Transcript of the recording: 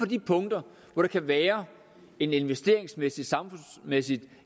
de punkter hvor der kan være en investeringsmæssig samfundsmæssig